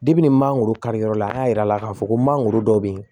ni mangoro kari yɔrɔ la an y'a yira a la k'a fɔ ko mangoro dɔ bɛ yen